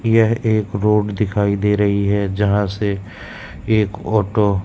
यह एक रोड दिखाई दे रही है जहां से एक ऑटो --